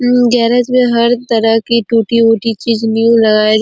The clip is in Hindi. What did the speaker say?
अम गैरेज में हर तरह की टूटी -ऊटी चीज न्यू लगाई जा --